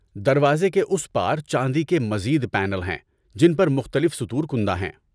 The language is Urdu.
دروازے کے اس پار چاندی کے مزید پینل ہیں جن پر مختلف سطور کندہ ہیں۔